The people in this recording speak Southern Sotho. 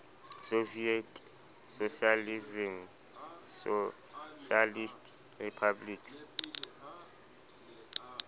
soviet socialist republics